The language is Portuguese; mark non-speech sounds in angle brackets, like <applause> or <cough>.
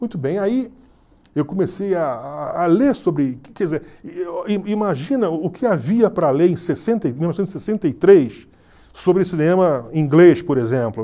Muito bem, aí eu comecei a a ler sobre <unintelligible> imagina o que havia para ler em sessenta e... mil novecentos e sessenta e três sobre cinema inglês, por exemplo.